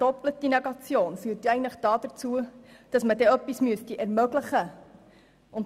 Eine doppelte Negation führt eigentlich dazu, dass man etwas ermöglichen müsste.